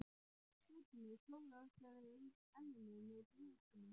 Svenni klórar sér í enninu með blýantinum.